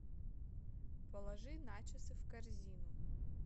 положи начосы в корзину